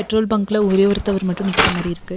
Petrol பங்க்ல ஒரே ஒருத்தவர் மட்டும் நிக்குற மாரி இருக்கு.